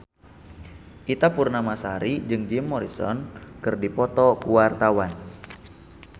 Ita Purnamasari jeung Jim Morrison keur dipoto ku wartawan